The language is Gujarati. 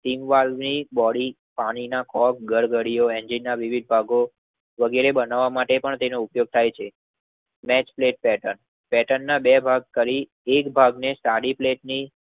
કીંગવાઝની બોડી પાણી ના કોક ગડગડીયે એન્જીનના વિવિધ ભાગો વગેરે બનાવ માટે તેનો ઉપયોગ થાય છે. નેક્સપ્લેટ પેર્ટન પેટનના બે ભાગ કરી એક ભાગ ને સાડી પ્લેટની